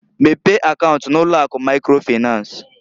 Mepee akaunt n'ụlọ akụ microfinanceǃ